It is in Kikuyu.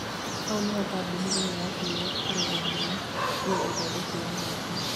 Hau nĩho kambũni ĩyo yatuirĩ kũrũgamia biũ ũthondeki wa Nota